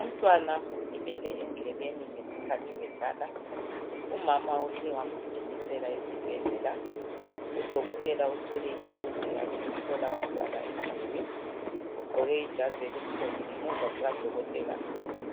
Umntwana ulimele endlebeni ngesikhathi bedlala umama uhle wamgijimisela esibhedlela udokotela uthwele ithulusi yakhe uhlola umntwana indlebe ugqoke ijazi elimhlophe ngemuva kukadokotela